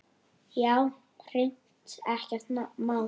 Já, hreint ekkert má.